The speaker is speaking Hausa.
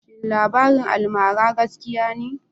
shin labarin almara gaskiya ne?